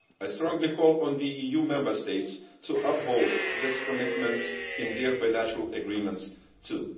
I strongly call on the EU Member States to uphold this commitment in their bilateral agreements, too.